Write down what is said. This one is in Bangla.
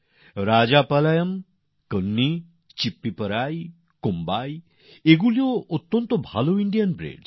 রাজাপলায়ম কন্নী চিপ্পিপরাই আর কোম্বাইও দারুণ ভাল ভারতীয় প্রজাতির